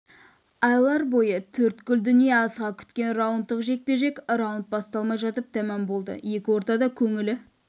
айлар бойы төрткүл дүние асыға күткен раундтық жекпе-жек раунд басталмай жатып тәмам болды екі ортада көңілі